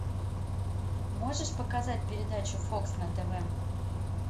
можешь показать передачу фокс на тв